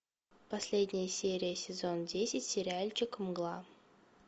последняя серия сезон десять сериальчик мгла